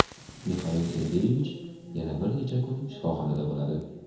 Mixail Sergeyevich yana bir necha kun shifoxonada bo‘ladi.